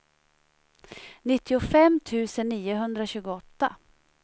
nittiofem tusen niohundratjugoåtta